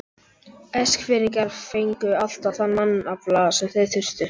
Eskfirðingar fengu alltaf þann mannafla sem þeir þurftu.